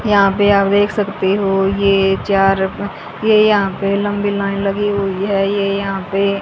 यहां पे आप देख सकते हो ये चार ये यहां पे लंबी लाइन लगी हुई है ये यहां पे--